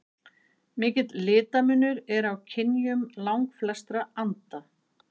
Mikill litamunur er á kynjum langflestra anda.